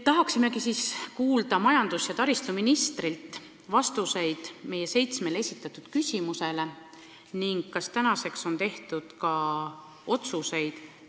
Tahaksimegi kuulda majandus- ja taristuministrilt vastuseid meie seitsmele esitatud küsimusele ning teada saada, kas nüüdseks on tehtud ka otsuseid.